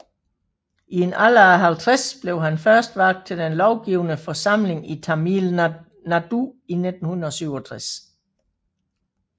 I en alder af 50 blev han først valgt til den lovgivende forsamling i Tamil Nadu i 1967